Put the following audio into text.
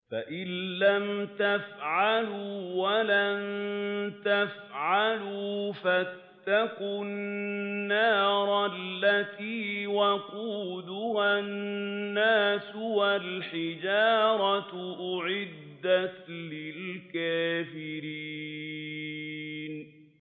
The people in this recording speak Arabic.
فَإِن لَّمْ تَفْعَلُوا وَلَن تَفْعَلُوا فَاتَّقُوا النَّارَ الَّتِي وَقُودُهَا النَّاسُ وَالْحِجَارَةُ ۖ أُعِدَّتْ لِلْكَافِرِينَ